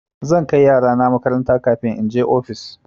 Zan kai yarana makaranta kafin in je ofis.